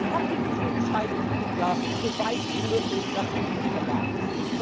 Man hatte diesen Zeitpunkt ja so weit wie möglich nach hinten verlagert.